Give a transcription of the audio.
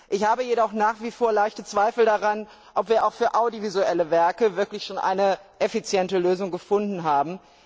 Ich habe jedoch nach wie vor leichte Zweifel daran, ob wir auch für audiovisuelle Werke wirklich schon eine effiziente Lösung gefunden haben.